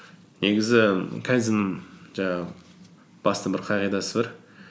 негізі кайдзен жаңағы басты бір қағидасы бар